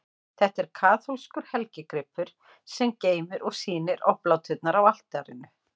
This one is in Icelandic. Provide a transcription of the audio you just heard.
Þetta er kaþólskur helgigripur, sem geymir og sýnir obláturnar á altarinu.